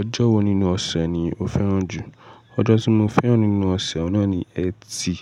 Ọjọ́ wo nínú ọ̀sẹ̀ ni o fẹ́ràn jù? Ọjọ́ tí mo fẹ́ràn nínú ọ̀sẹ̀ ọ̀un nà ni Ẹtì.